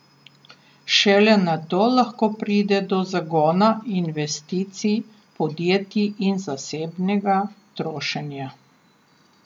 Šele nato lahko pride do zagona investicij podjetij in zasebnega trošenja.